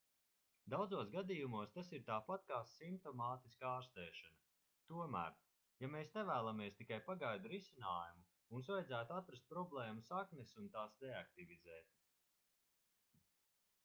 daudzos gadījumos tas ir tāpat kā simptomātiska ārstēšana tomēr ja mēs nevēlamies tikai pagaidu risinājumu mums vajadzētu atrast problēmu saknes un tās deaktivizēt